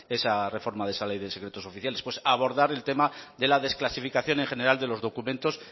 esa reforma de esa ley de secretos oficiales pues abordar el tema de la desclasificación en general de los documentos